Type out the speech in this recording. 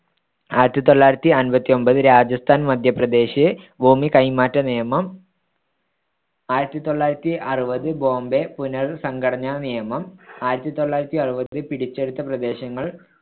ആയിരത്തിതൊള്ളായിരത്തിമ്പത്തിയൊമ്പതിൽ രാജസ്ഥാൻ മദ്ധ്യപ്രദേശ് ഭൂമി കൈമാറ്റ നിയമം ആയിരത്തിതൊള്ളായിരത്തിയാറുപത് ബോംബെ പുനർ‌സംഘടനാ നിയമം ആയിരത്തിതൊള്ളായിരത്തിയാറുപത് പിടിച്ചെടുത്ത പ്രദേശങ്ങൾ